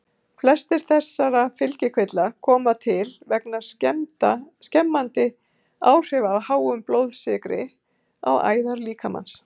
Flestir þessara fylgikvilla koma til vegna skemmandi áhrifa af háum blóðsykri á æðar líkamans.